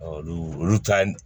olu olu ta